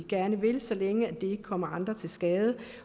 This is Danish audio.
gerne vil så længe det ikke kommer andre til skade